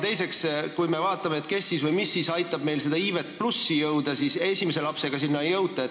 Teiseks, kui me vaatame, kes või mis aitab meil iibega plussi jõuda, siis on selge, et esimese lapsega sinna ei jõuta.